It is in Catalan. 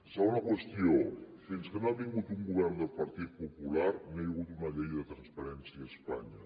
segona qüestió fins que no ha vingut un govern del partit popular no hi ha hagut una llei de transparència a espanya